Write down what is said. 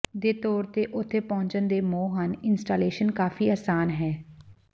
ਦੇ ਤੌਰ ਤੇ ਉਥੇ ਪਹੁੰਚਣ ਦੇ ਮੋਹ ਹਨ ਇੰਸਟਾਲੇਸ਼ਨ ਕਾਫ਼ੀ ਆਸਾਨ ਹੈ